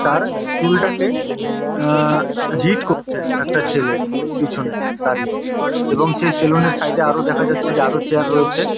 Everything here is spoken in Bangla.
তার চুলটাকে আ- হিট করছে একটা ছেলে পিছনে দাঁড়িয়ে। এবং সেই সেলুন -র সাইড -এ আরও দেখা যাচ্ছে যে আরো চেয়ার রয়েছে।